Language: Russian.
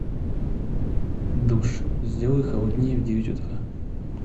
душ сделай холоднее в девять утра